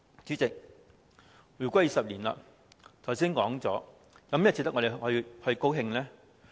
主席，回歸20年，我剛才說過，有甚麼值得我們高興呢？